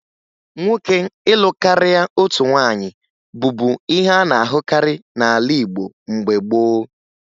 Nwoke ịlụ karịa otu nwaanyị bụbu ihe a na-ahụkarị n'ala Igbo mgbe gboo